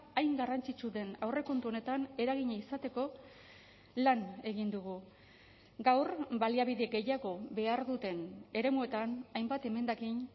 hain garrantzitsu den aurrekontu honetan eragina izateko lan egin dugu gaur baliabide gehiago behar duten eremuetan hainbat emendakin